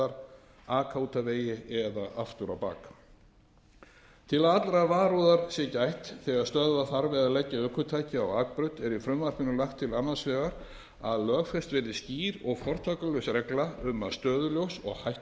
staðar aka út af vegi eða aftur á bak til að allrar varúðar sé gætt þegar stöðva þarf eða leggja ökutæki á akbraut er í frumvarpinu lagt til annars vegar að lögfest verði skýr og fortakslaus regla um að stöðuljós og hættuljós